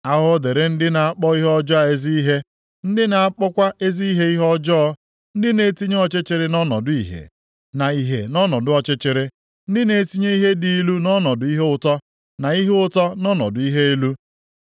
Ahụhụ dịrị ndị na-akpọ ihe ọjọọ ezi ihe ndị na-akpọkwa ezi ihe ihe ọjọọ, ndị na-etinye ọchịchịrị nʼọnọdụ ìhè na ìhè nʼọnọdụ ọchịchịrị ndị na-etinye ihe dị ilu nʼọnọdụ ihe ụtọ, na ihe ụtọ nʼọnọdụ ihe ilu.